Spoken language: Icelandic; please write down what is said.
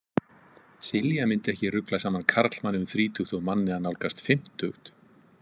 Silja myndi ekki rugla saman karlmanni um þrítugt og manni að nálgast fimmtugt.